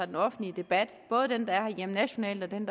den offentlige debat både den nationale og den